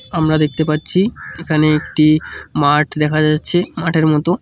আমরা দেখতে পাচ্ছি এখানে একটি মাঠ দেখা যাচ্ছে মাঠের মতো।